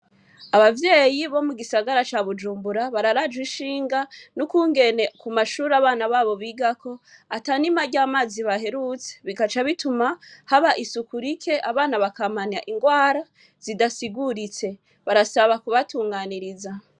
Abavyeyi bo mugisagara ca Bujumbura bararajwe ishinga nukungene ku mashure abana babo bigako atanima ryamazi baherutse bikaca bituma haba isuku rike abana bakamana ingwara zidasiguritse barasaba kubatunganiriza.